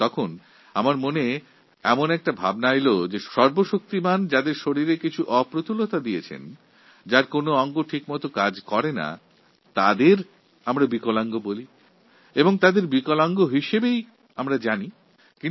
এই সময়ে আমার মনে হল ঈশ্বর যার শরীরে কিছু অপূর্ণতা দিয়েছেন কিংবা যার দুএকটি অঙ্গ ঠিকভাবে কাজ করে না আমরা তাকে বিকলাঙ্গ বলি বিকলাঙ্গরূপে জানি